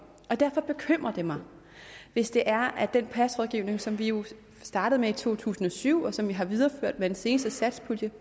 derfor bekymrer det mig hvis det er at den pas rådgivning som vi jo startede med i to tusind og syv og som vi har videreført med den seneste satspulje